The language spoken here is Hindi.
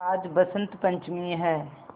आज बसंत पंचमी हैं